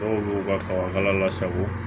Dɔw b'u ka kaba kala lasago